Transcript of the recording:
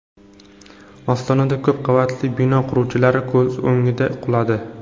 Ostonada ko‘p qavatli bino quruvchilar ko‘z o‘ngida quladi.